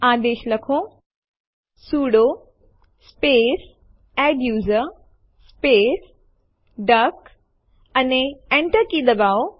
આદેશ લખો sudo space adduser space duck અને Enter કી દબાવો